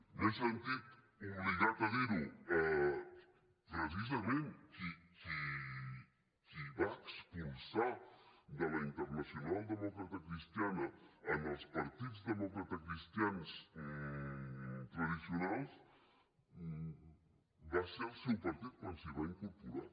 m’he sentit obligat a dir ho precisament qui va expulsar de la internacional democratacristiana els partits democratacristians tradicionals va ser el seu partit quan s’hi va incorporar